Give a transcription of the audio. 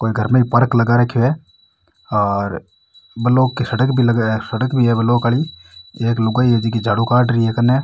कोई घर में ही पार्क लगा रखयो है और ब्लॉक की सड़क भी लगाए है और सड़क भी है ब्लॉक वाली और एक लुगाई है जोकी झाड़ू काड री है कन्ने।